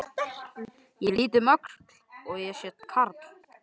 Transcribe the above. Ég lít um öxl og sé karl